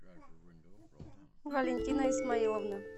валентина исмаиловна